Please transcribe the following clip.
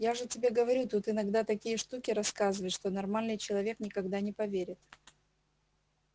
я же тебе говорю тут иногда такие штуки рассказывают что нормальный человек никогда не поверит